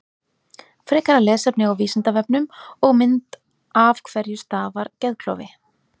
Frekara lesefni á Vísindavefnum og mynd Af hverju stafar geðklofi?